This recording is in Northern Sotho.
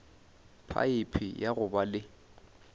phaephe ya go ba le